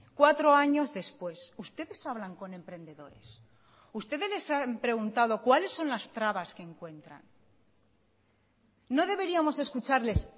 cuatro años después ustedes hablan con emprendedores ustedes les han preguntado cuáles son las trabas que encuentran no deberíamos escucharles